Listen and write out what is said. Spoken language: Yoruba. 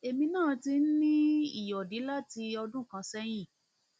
èmi náà ti ń ní ìyọdí láti ọdún kan sẹyìn